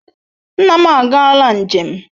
Nna m agaala njem.